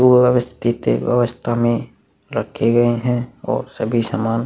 अवयवस्थित है अव्यवस्था में रखे गए हैं और सभी सामान--